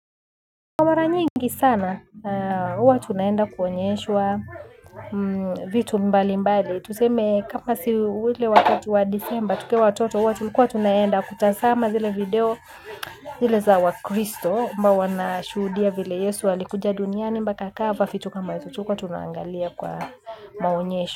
Kwa mara nyingi sana, huwa tunaenda kuonyeshwa vitu mbali mbali. Tuseme kama si ule wakati wa December tukiwa watoto, huwa tulikuwa tunaenda kutazama zile video zile za wa Kristo. Huwa wana shuhudia vile Yesu alikuja duniani mpaka akafa vitu kama hizo tulikuwa, tunaangalia kwa maonyesho.